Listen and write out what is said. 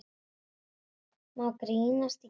Má grínast í kirkju?